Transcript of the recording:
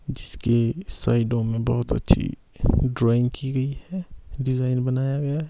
जिसके साइडों में बहुत अच्छी ड्राइंग की गई है डिजाइन बनाया गया है।